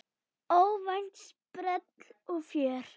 Óvænt sprell og fjör.